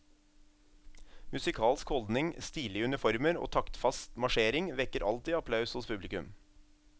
Musikalsk holdning, stilige uniformer og taktfast marsjering vekker alltid applaus hos publikum.